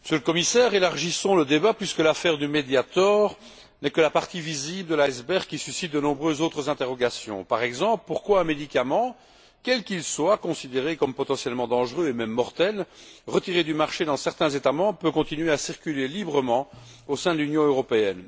Madame la Présidente, Monsieur le Commissaire, élargissons le débat puisque l'affaire du Mediator n'est que la partie visible de l'iceberg qui suscite de nombreuses autres interrogations. Par exemple, pourquoi un médicament quel qu'il soit, considéré comme potentiellement dangereux et même mortel, retiré du marché dans certains États membres, peut il continuer à circuler librement au sein de l'Union européenne?